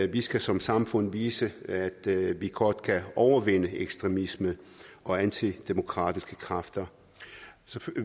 vi skal som samfund vise at vi godt kan overvinde ekstremisme og antidemokratiske kræfter